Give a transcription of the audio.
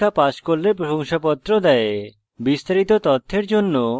online পরীক্ষা pass করলে প্রশংসাপত্র দেওয়া হয়